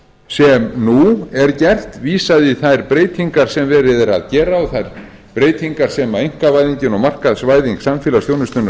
sem nú er gert er vísað í þær breytingar sem verið er að gera og breytingar sem einkavæðingin og markaðsvæðing samfélagsþjónustunnar